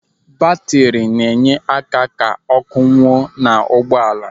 Batri na-enye aka ka ọ́kụ́ nwuo n'ụgbọala.